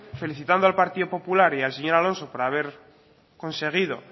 felicitando al partido popular y al señor alonso por haber conseguido